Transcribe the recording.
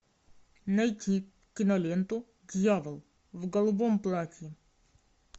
найти киноленту дьявол в голубом платье